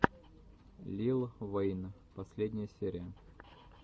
лил вэйн последняя серия